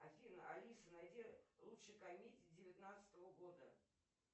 афина алиса найди лучшие комедии девятнадцатого года